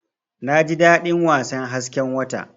Naji dadin wasan hasken wata.